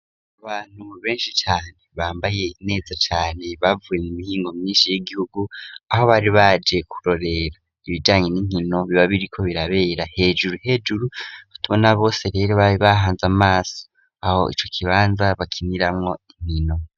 Abantu benshi cane bambaye neza cane bavuye mu mihingo myinshi y'igihugu aho bari baje kurorera ibijanye n'inkino biba biriko birabera hejuru hejuru batubona bose rero babihanze amaso aho ico kibanza bakiniramwo inkino.